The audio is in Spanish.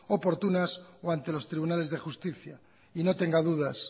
oportunas o ante los tribunales de justicia y no tenga dudas